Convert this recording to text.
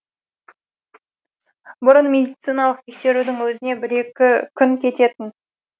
бұрын медициналық тексерудің өзіне бір екі күн кететін